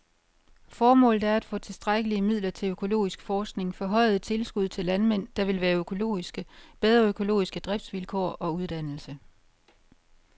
Formålet er at få tilstrækkelige midler til økologisk forskning, forhøjede tilskud til landmænd, der vil være økologiske, bedre økologiske driftsvilkår og uddannelse.